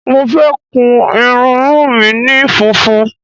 Mo fẹ́ kun irunmú mi ni funfun.